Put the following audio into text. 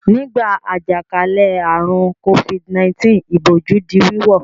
Nígbà àjàkálẹ̀ àrùn Covid-19 ìbòjú di wíwọ̀.